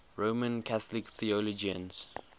roman catholic theologians